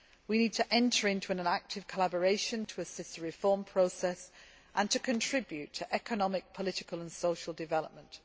We need to enter into active collaboration to assist the reform process and to contribute to economic, political and social development.